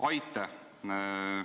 Aitäh!